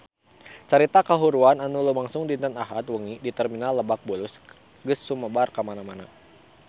Carita kahuruan anu lumangsung dinten Ahad wengi di Terminal Lebak Bulus geus sumebar kamana-mana